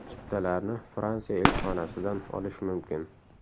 Chiptalarni Fransiya elchixonasidan olish mumkin.